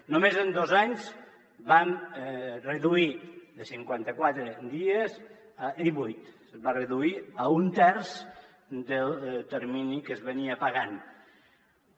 només en dos anys van reduir de cinquanta quatre dies a divuit es va reduir a un terç el termini en què es pagava